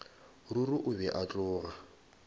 ruri o be a tloga